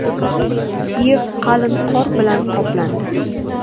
Kiyev qalin qor bilan qoplandi.